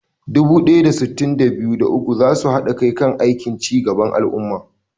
Dubu ɗaya da sittin da biyu, da uku za su haɗa kai kan aikin ci gaban al'umma.